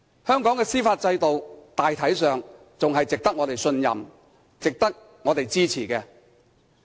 香港的司法制度大體上仍然值得我們信任，亦值得我們支持。